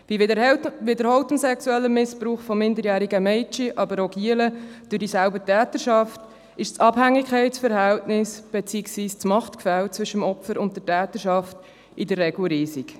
Durch den wiederholten sexuellen Missbrauch von minderjährigen Mädchen, aber auch von Knaben durch dieselbe Täterschaft, ist das Abhängigkeitsverhältnis, beziehungsweise das Machtgefälle zwischen dem Opfer und der Täterschaft, in der Regel riesig.